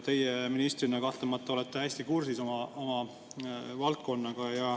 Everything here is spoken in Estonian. Teie ministrina kahtlemata olete hästi kursis oma valdkonnaga.